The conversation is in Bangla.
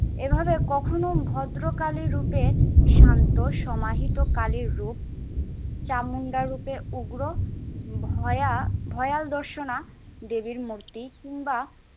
এভাবে কখনো ভদ্র কালী রূপে শান্ত সমাহিত কালীর রূপ, চামুন্ডা রূপে উগ্র, ভয়া~ ভয়াল দর্শনা দেবীর মূর্তি কিংবা